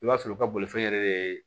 I b'a sɔrɔ u ka bolifɛn yɛrɛ bɛ